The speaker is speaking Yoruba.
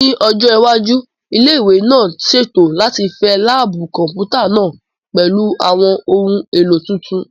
Ní ọjọ́ iwájú, ilé ìwé náà ṣètò láti fẹ láàbù Kọ̀m̀pútà náà pẹ̀lú àwọn ohun èlò tuntun